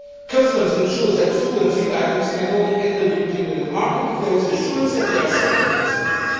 Customs ensures that food and feed items can only enter the European Union market if there is assurance that they are safe for consumption.